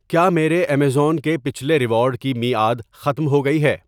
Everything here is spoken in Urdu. کیا میرے ایمیزون کے پچھلے ریوارڈ کی میعاد ختم ہو گئی ہے؟